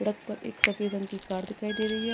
सड़क पर एक सफ़ेद रंग की कार दिखाई दे रही है।